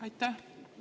Aitäh!